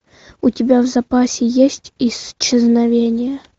у тебя в запасе есть исчезновение